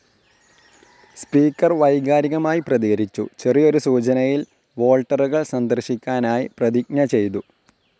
Speaker വൈകാരികമായി പ്രതികരിച്ചു, ചെറിയൊരു സൂചനയിൽ വോൾട്ടറുകൾ സന്ദർശിക്കാനായി പ്രതിജ്ഞ ചെയ്തു.